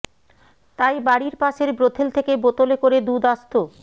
তাই বাড়ির পাশের ব্রোথেল থেকে বোতলে করে দুধ আসত